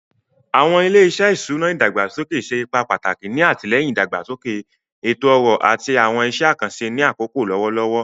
Awọn ile-iṣẹ iṣuna idagbasoke ṣe ipa pataki ni atilẹyin idagbasoke eto-ọrọ ati awọn iṣẹ akanṣe ni akoko lọwọlọwọ.